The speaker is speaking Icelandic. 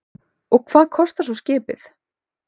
Og hvað kostar svo skipið?